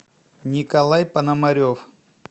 николай пономарев